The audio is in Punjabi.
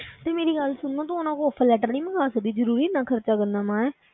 ਤੇ ਮੇਰੀ ਗੱਲ ਸੁਣ ਤੂੰ ਉਹਨਾਂ ਕੋਲੋਂ offer letter ਨੀ ਮੰਗਵਾ ਸਕਦੀ, ਜ਼ਰੂਰੀ ਇੰਨਾ ਖ਼ਰਚਾ ਕਰਨਾ ਵਾਂ ਹੈਂ।